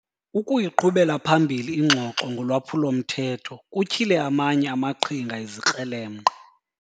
Ukuyiqhubela phambili ingxoxo ngolwaphulo-mthetho kutyhile amanye amaqhinga ezikrelemnqa.